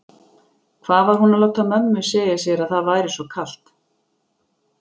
Hvað var hún að láta mömmu segja sér að það væri svo kalt?